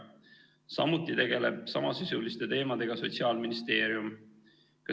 Samuti tegeleb samasisuliste teemadega Sotsiaalministeerium.